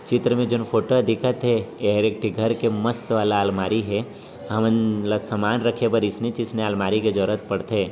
चित्र मे जोन फोटो दिखत हे एहर एक ठी घर के मस्त वाला आलमारी हे हमन ल समान रखे पर इसनेच इसनेच आलमारी के जरूरत पड़थे।